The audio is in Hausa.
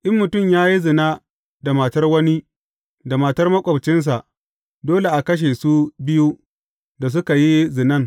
In mutum ya yi zina da matar wani, da matar maƙwabcinsa, dole a kashe su biyu da suka yi zinan.